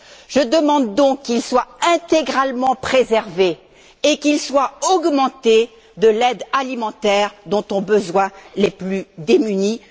Je demande donc qu'il soit intégralement préservé et qu'il soit augmenté de l'aide alimentaire dont ont besoin les plus démunis